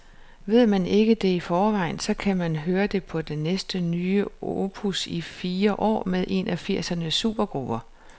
Ved man ikke det i forvejen, så kan man høre det på det første nye opus i fire år med en af firsernes supergrupper.